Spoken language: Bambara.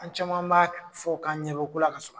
An caman b'a fɔ k' ɲɛbɛko la ka